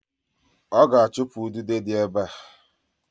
Oga achupu ududo di ebe a.